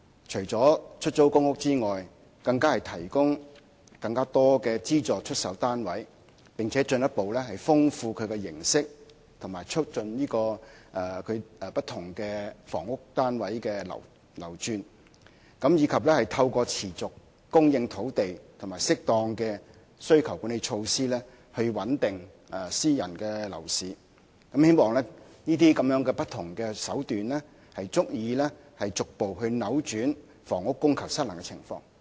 除出租公屋外，當局更提供更多資助出售單位，並且進一步豐富其形式及促進不同房屋單位的流轉，以及透過持續供應土地和適當的需求管理措施，穩定私人樓市，希望這些不同的手段足以逐步扭轉房屋供求失衡的情況。